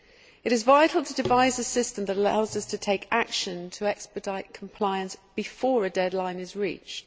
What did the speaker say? It is vital to devise a system that allows us to take action to expedite compliance before a deadline is reached.